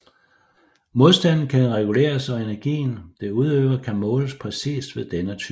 Modstanden kan reguleres og energien det udøver kan måles præcist ved denne type